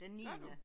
Gør du?